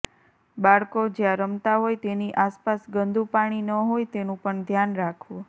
બાળકો જ્યાં રમતાં હોય તેની આસપાસ ગંદું પાણી ન હોય તેનું પણ ધ્યાન રાખવું